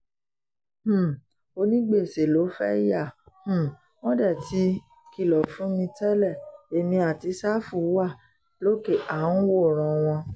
um onígbèsè ló fẹ́ẹ́ yà um wọ́n dé tí kìlọ̀ fún mi tẹ́lẹ̀ èmi àti sáfù wà lókè à ń wòran wọn